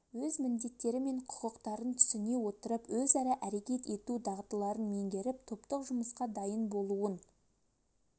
өз міндеттері мен құқықтарын түсіне отырып өзара әрекет ету дағдыларын меңгеріп топтық жұмысқа дайын болуын